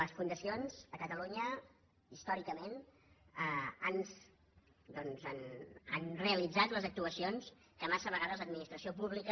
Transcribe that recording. les fundacions a catalunya històricament han rea·litzat les actuacions que massa vegades l’administra·ció pública